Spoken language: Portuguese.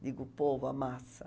Digo, o povo, a massa.